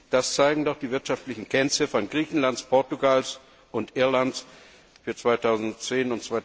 Das zeigen doch die wirtschaftlichen Kennziffern Griechenlands, Portugal und Irlands für 2010